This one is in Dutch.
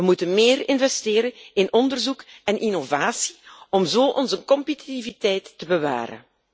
We moeten meer investeren in onderzoek en innovatie om zo onze competitiviteit te bewaren.